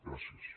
gràcies